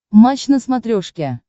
матч на смотрешке